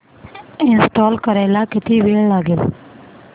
install करायला किती वेळ लागेल